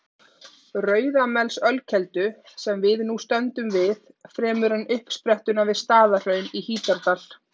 Rauðamelsölkeldu, sem við nú stöndum við, fremur en uppsprettuna við Staðarhraun í Hítardal.